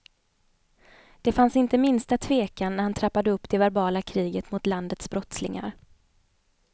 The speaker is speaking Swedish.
Det fanns inte minsta tvekan när han trappade upp det verbala kriget mot landets brottslingar.